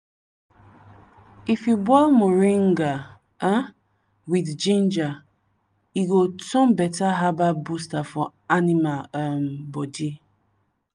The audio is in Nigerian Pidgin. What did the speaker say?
if you boil moringa um with ginger e go turn better herbal booster for animal um body.